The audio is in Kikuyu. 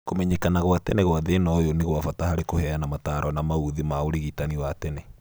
Kũmenyekana gwa tene gwa thĩna ũyũ nĩ gwa bata harĩ kũheana mataro ma maũthĩ na ũrigitani wa tene